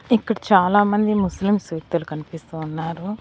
ఇక్కడ చాలామంది ముస్లిమ్స్ వ్యక్తులు కనిపిస్తూ ఉన్నారు.